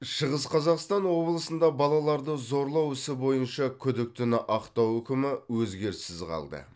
шығыс қазақстан облысында балаларды зорлау ісі бойынша күдіктіні ақтау үкімі өзгеріссіз қалды